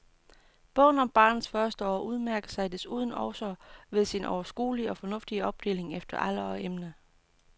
Bogen om barnets første år udmærker sig desuden også ved sin overskuelige og fornuftige opdeling efter alder og emne.